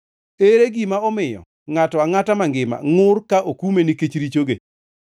Ere gima omiyo ngʼato angʼata mangima ngʼur ka okume nikech richoge?